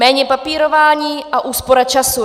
Méně papírování a úspora času.